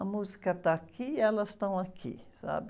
A música está aqui e elas estão aqui, sabe?